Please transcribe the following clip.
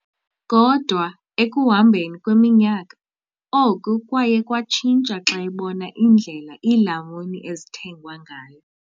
Kodwa ekuhambeni kweminyaka, oku kwaye kwatshintsha xa ebona indlela iilamuni ezithengwa ngayo.